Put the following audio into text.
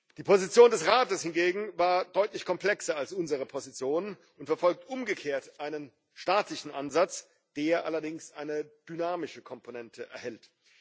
Die Position des Rates hingegen war deutlich komplexer als unsere Position und verfolgt umgekehrt einen statistischen Ansatz, der allerdings eine dynamische Komponente erhält.